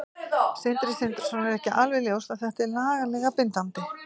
Sindri Sindrason: Er ekki alveg ljóst að þetta er lagalega bindandi?